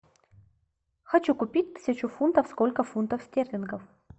хочу купить тысячу фунтов сколько фунтов стерлингов